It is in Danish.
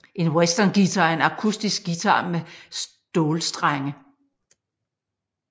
En westernguitar er en akustisk guitar med stålstrenge